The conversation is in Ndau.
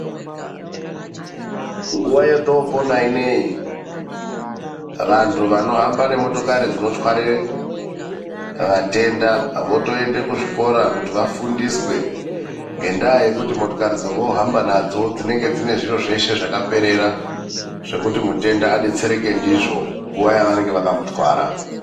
Nguva yetopona inoiyi vantu vanohamba nemotokari dzinotware vatenda, votoenda kuzvikora kuti vafundiswe ngendaa yekuti motikari dzovo hamba nadzo dzinenge dzine zviro zveshe zvakaperera, zvekuti mutenda abetsereke ndizvo panguva yawanenge vakamutwara.